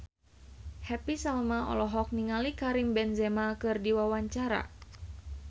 Happy Salma olohok ningali Karim Benzema keur diwawancara